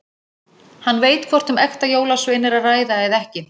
Hann veit hvort um ekta jólasvein er að ræða eða ekki.